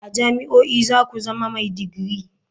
A jami'o'i za ku zama mai digiri.